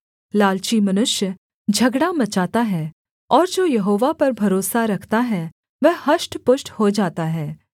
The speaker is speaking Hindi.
लालची मनुष्य झगड़ा मचाता है और जो यहोवा पर भरोसा रखता है वह हष्टपुष्ट हो जाता है